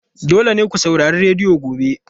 Dole ne ku saurari rediyo gobe!